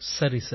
சரி சார்